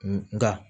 Nka